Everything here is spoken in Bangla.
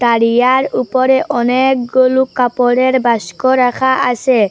আর ইহার উপরে অনেকগুলো কাপড়ের বাস্ক রাখা আসে।